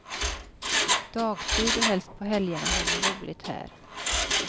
Dagtid och helst på helgerna har man roligt här.